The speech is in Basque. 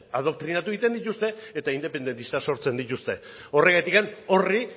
adoktrinatu egiten dituzte eta independentistak sortzen dituzte horregatik horri